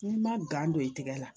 N'i ma gan don i tɛgɛ la